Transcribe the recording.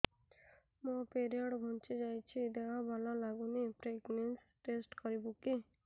ମୋ ପିରିଅଡ଼ ଘୁଞ୍ଚି ଯାଇଛି ଦେହ ଭଲ ଲାଗୁନି ପ୍ରେଗ୍ନନ୍ସି ଟେଷ୍ଟ କରିବୁ କି